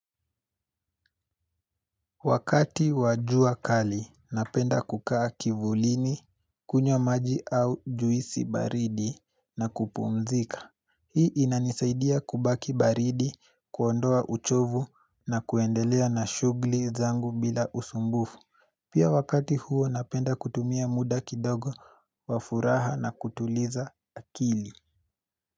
Wakati wajua kali, napenda kukaa kivulini, kunywa maji au juisi baridi na kupumzika. Hii inanisaidia kubaki baridi, kuondoa uchovu na kuendelea na shughli zangu bila usumbufu. Pia wakati huo napenda kutumia muda kidogo wafuraha na kutuliza akili.